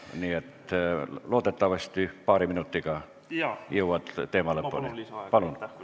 Nii et loodetavasti jõuad sa paari minuti jooksul teemaga lõpuni.